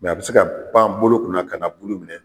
Mɛ a bɛ se ka pan bolo kunna ka na bulu minɛ.